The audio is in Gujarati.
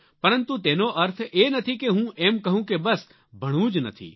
પરંતુ તેનો અર્થ એ નથી કે હું એમ કહું કે બસ ભણવું જ નથી